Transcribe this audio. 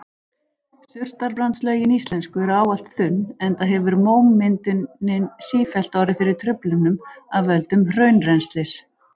Surtarbrandslögin íslensku eru ávallt þunn enda hefur mómyndunin sífellt orðið fyrir truflunum af völdum hraunrennslis.